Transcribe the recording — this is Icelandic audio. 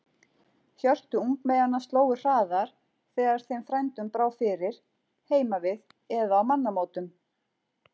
Hjörtu ungmeyjanna slógu hraðar þegar þeim frændum brá fyrir, heima við eða á mannamótum.